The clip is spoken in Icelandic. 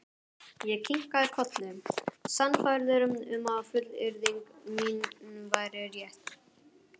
Ég kinkaði kolli, sannfærður um að fullyrðing mín væri rétt.